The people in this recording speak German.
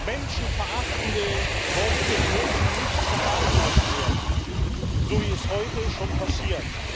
Menschenverachtende Worte dürfen nicht verharmlost werden, so wie es heute schon passiert.